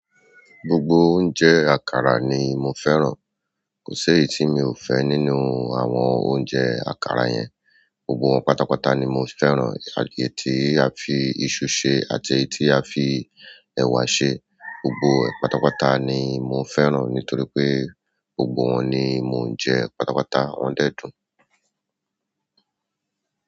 Gbogbo oúnjẹ àkàrà ni mo fẹ́ràn. Kò si èyí to mi o fe nínú àwọn oúnjẹ àkàrà yen. Gbogbo wọn pátápátá ni mo fẹ́ràn, àti èyí tí a fi iṣu ṣe àti èyí tí a fi ẹ̀wà ṣe. Gbogbo pátápátá ni mo fẹ́ràn nítorí pé gbogbo wọn ni mò ń jẹ pátápátá. Wọ́n dẹ́dùn.